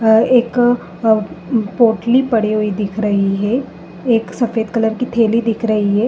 एक पोटली पड़ी हुई दिख रही है। एक सफेद कलर की थैली दिख रही है।